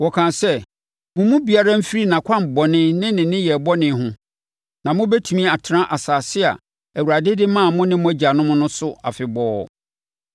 Wɔkaa sɛ, “Mo mu biara mfiri nʼakwan bɔne ne ne nneyɛɛ bɔne ho, na mobɛtumi atena asase a Awurade de maa mo ne mo agyanom no so afebɔɔ.